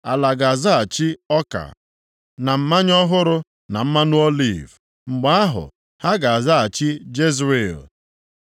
Ala ga-azaghachi ọka na mmanya ọhụrụ na mmanụ oliv, mgbe ahụ ha ga-azaghachi Jezril.